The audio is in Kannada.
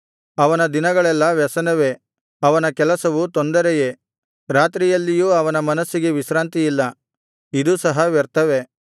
ಅವನ ದಿನಗಳೆಲ್ಲಾ ವ್ಯಸನವೇ ಅವನ ಕೆಲಸವು ತೊಂದರೆಯೇ ರಾತ್ರಿಯಲ್ಲಿಯೂ ಅವನ ಮನಸ್ಸಿಗೆ ವಿಶ್ರಾಂತಿಯಿಲ್ಲ ಇದೂ ಸಹ ವ್ಯರ್ಥವೇ